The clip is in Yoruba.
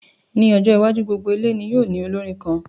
Ní ọjọ́ iwájú, gbogbo ilé ní yóò ní olórin kan